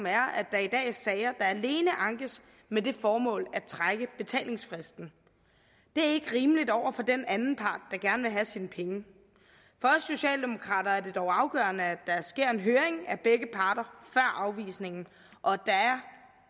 er at der i dag er sager der alene ankes med det formål at trække betalingsfristen det er ikke rimeligt over for den anden part der gerne vil have sine penge for os socialdemokrater er det dog afgørende at der sker en høring af begge parter før afvisningen og